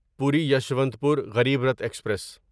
پوری یسوانتپور غریب رتھ ایکسپریس